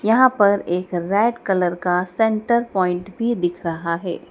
यहां पर एक रेड कलर का सेंटर पॉइंट भी दिख रहा है।